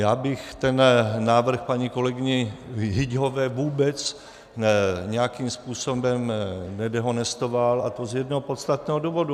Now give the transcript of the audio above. Já bych ten návrh paní kolegyni Hyťhové vůbec nijakým způsobem nedehonestoval, a to z jednoho podstatného důvodu.